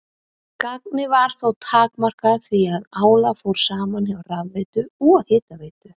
Gagnið var þó takmarkað því að álag fór saman hjá rafveitu og hitaveitu.